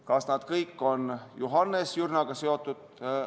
Kas need kõik on Johannes Jürnaga seotud?